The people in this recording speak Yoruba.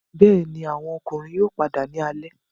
Bẹẹni, awọn ọmọkunrin yoo pada ni alẹ